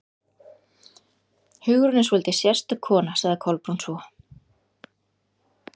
Hugrún er svolítið sérstök kona sagði Kolbrún svo.